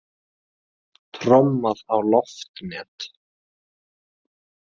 Trommað á loftnet